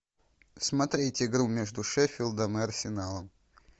смотреть игру между шеффилдом и арсеналом